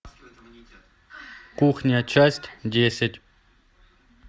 кухня часть десять